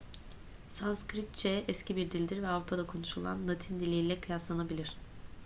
sanskritçe eski bir dildir ve avrupa'da konuşulan latin diliyle kıyaslanabilir